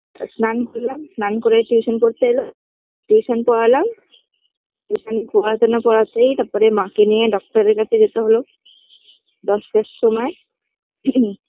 স্নান করলাম স্নান করে tuition পড়তে এলো tuition পড়ালাম tuition পড়াতে না পড়াতেই তারপরে মাকে নিয়ে doctor -এর কাছে যেতে হলো দশটার সময়